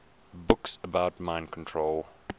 books about mind control